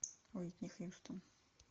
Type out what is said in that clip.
уитни хьюстон